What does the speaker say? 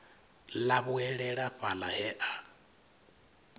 ḽa vhuelela fhaḽa he a